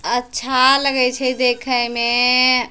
अच्छा लगई छे देखे मे--